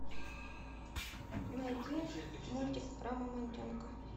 найди мультик про мамонтенка